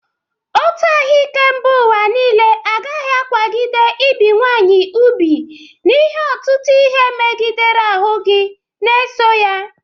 Otu ahụike mba ụwa niile agaghị akwagide ibi nwaanyị ubu n'ihe ọtụtụ ihe megidere ahụ gi na-eso ya.